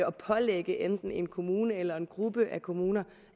at pålægge enten en kommune eller en gruppe af kommuner